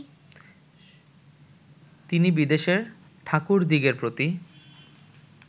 তিনি বিদেশের ঠাকুরদিগের প্রতি